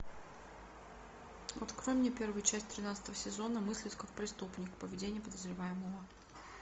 открой мне первую часть тринадцатого сезона мыслить как преступник поведение подозреваемого